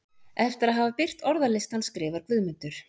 Eftir að hafa birt orðalistann skrifar Guðmundur: